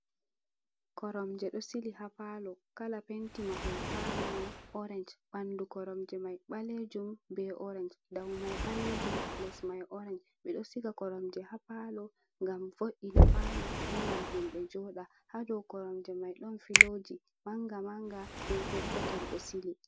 Koromje ɗo sili ha palo. Kala penti mahol palo mai orange, ɓandu koromje mai ɓalejum be orange, dau mai ɓalejum, les mai orange. Ɓeɗo siga koromje ha palo ngam vo'ina palo bo ngam himɓe joɗa ha dow koromje mai. Ɗon filoji manga-manga be petel-petel ɗo sili.